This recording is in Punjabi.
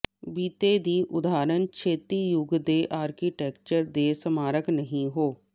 ਬੀਤੇ ਦੀ ਉਦਾਹਰਨ ਛੇਤੀ ਯੁੱਗ ਦੇ ਆਰਕੀਟੈਕਚਰ ਦੇ ਸਮਾਰਕ ਨਹੀ ਹੋ